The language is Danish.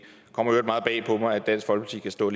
øvrigt meget bag på mig at dansk folkeparti kan stå